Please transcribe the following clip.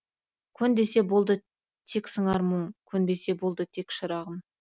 көн десе болды тек сыңар мұң сөнбесе болды тек шырағым